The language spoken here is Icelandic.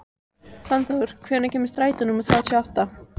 Fannþór, hvenær kemur strætó númer þrjátíu og átta?